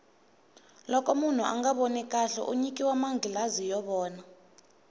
loko munhu anga voni kahle u nyikiwa manghilazi yo vona